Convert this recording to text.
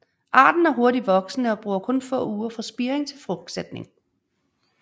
Arten er hurtigt voksende og bruger kun få uger fra spiring til frugtsætning